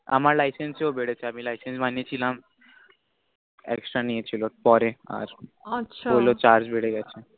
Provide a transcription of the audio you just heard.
আমার licence এও বেড়েছে আমি licence বানিয়ে ছিলাম extra নিয়েছিল পরে আর আছা বললো charge বেড়ে গেছে